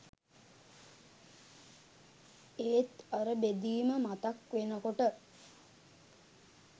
ඒත් අර බෙදීම මතක් වෙනකොට